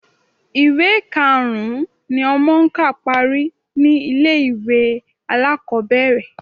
Ìwé karùn-ún ni ọmọ ń kà parí ni ilé-ìwé alákọ̀ọ́bẹ̀rẹ̀